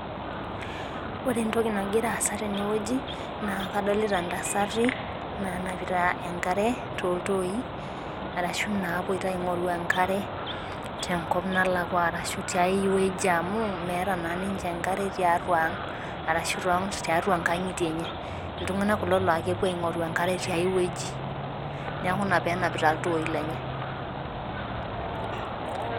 Ore entoki nagira aasa tene wueji naa kadolita intasati nanapita enkare tooltoi. arashu naapoito aing'oru enkare.te nkop nalakua ashu tiae wueji amu meeta naa ninye, enkare tiatua ang. ashu tiatua nkang'itie enye. iltunganak kulo naa kepuo aing'oru enkare tiae wueji. neeku Ina pee enapitai iltoooi lenyem